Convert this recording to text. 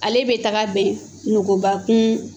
Ale bɛ taga ben nugubakun